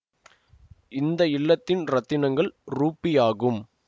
இந்த இல்லத்தின் இரத்தினங்கல் ரூபி ஆகும்